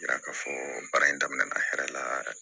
Yira k'a fɔ baara in daminɛna hɛrɛ la yɛrɛ